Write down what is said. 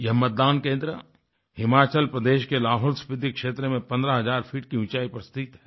यह मतदान केंद्र हिमाचल प्रदेश के लाहौलस्फिति क्षेत्र में 15000 फीट की ऊंचाई पर स्थित है